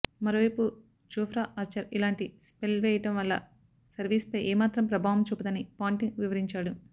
మరోవైపు Jofra Archer ఇలాంటి spell వేయడం వల్ల సిరీస్పై ఏమాత్రం ప్రభావం చూపదని పాంటింగ్ వివరించాడు